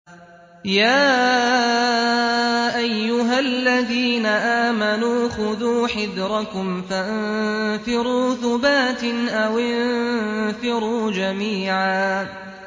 يَا أَيُّهَا الَّذِينَ آمَنُوا خُذُوا حِذْرَكُمْ فَانفِرُوا ثُبَاتٍ أَوِ انفِرُوا جَمِيعًا